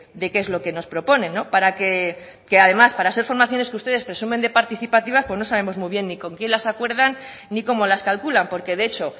de qué es lo que nos proponen para que además para ser formaciones que ustedes presumen de participativas pues no sabemos muy bien ni con quién las acuerdan ni cómo las calculan porque de hecho